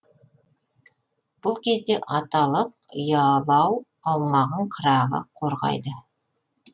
бұл кезде аталық ұялау аумағын қырағы қорғайды